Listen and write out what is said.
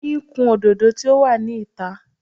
Oyin ń kun òdòdó tí ó wà ní ìta.